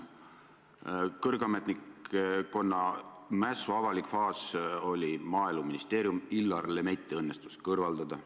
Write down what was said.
Kõrge ametnikkonna mässu avalik faas oli Maaeluministeeriumis, Illar Lemetti õnnestus kõrvaldada.